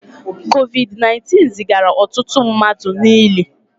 COVID 19 zigara ọtụtụ mmadụ n'ili